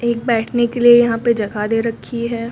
एक बैठने के लिए यहां पे जगह दे रखी है।